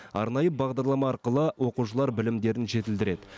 арнайы бағдарлама арқылы оқушылар білімдерін жетілдіреді